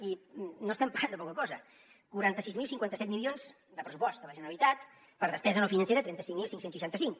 i no estem parlant de poca cosa quaranta sis mil cinquanta set milions de pressupost de la generalitat per despesa no financera trenta cinc mil cinc cents i seixanta cinc